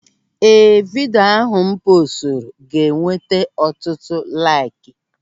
Ee, vidio ahụ m poosturu ga-enweta ọtụtụ laiki.